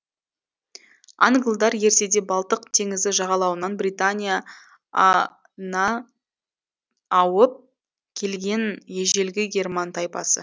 англдар ертеде балтық теңізі жағалауынан британия а на ауып келген ежелгі герман тайпасы